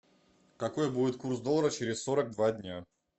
какой будет курс доллара через сорок два дня